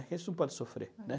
A gente não pode sofrer, né?